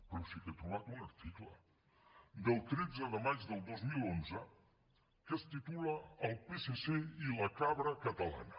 però sí que he trobat un article del tretze de maig del dos mil onze que es titula el psc i la cabra catalana